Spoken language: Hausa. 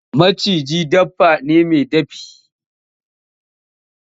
Maciji dabba ne mai dafi.